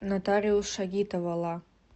нотариус шагитова ла